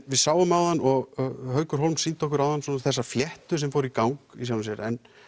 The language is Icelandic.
við sáum áðan og Haukur Hólm sýndi okkur áðan svona þessa fléttu sem fór í gang í sjálfu sér en